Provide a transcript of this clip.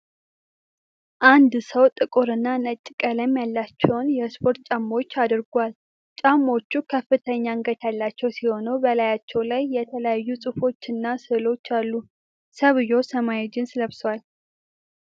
አንድ ሰው ጥቁርና ነጭ ቀለም ያላቸውን የስፖርት ጫማዎች አድርጓል። ጫማዎቹ ከፍተኛ አንገት ያላቸው ሲሆን፣ በላያቸው ላይ የተለያዩ ጽሑፎች እና ስዕሎች አሉ። ሰውዬው ሰማያዊ ጂንስ ለብሷል።